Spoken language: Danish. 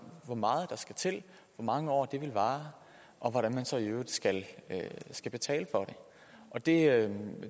hvor meget der skal til hvor mange år det vil vare og hvordan man så i øvrigt skal skal betale for det